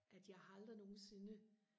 at jeg har aldrig nogensinde